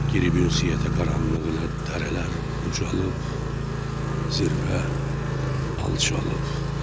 Girib ünsiyyətə qaranlıq elə dərələr ucalıb, zirvə alçalıb.